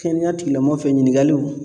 Kɛnɛya tigilamɔgɔ fɛ ɲininkaliw